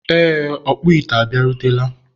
ee, ọkpụ ite a bịarutela.